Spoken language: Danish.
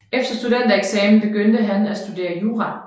Efter studentereksamen begyndte han at studere jura